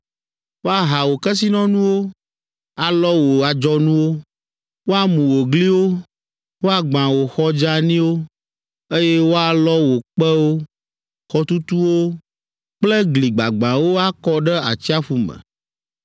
Woaha wò kesinɔnuwo, alɔ wò adzɔnuwo, woamu wò gliwo, woagbã wò xɔ dzeaniwo, eye woalɔ wò kpewo, xɔtutuwo kple gli gbagbãwo akɔ ɖe atsiaƒu me.